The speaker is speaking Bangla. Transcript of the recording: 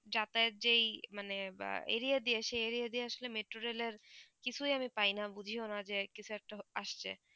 যাতায়াত যেই মানে বা area দিয়ে এসে area দিয়ে আসলে metro rail এর কিছুই আমি পাই না বুঝিও না যে কিছু একটা আসছে